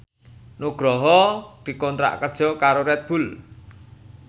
Nugroho dikontrak kerja karo Red Bull